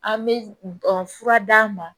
An bɛ fura d'a ma